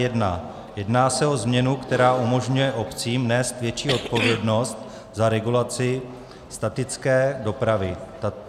Jedná se o změnu, která umožňuje obcím nést větší odpovědnost za regulaci statické dopravy.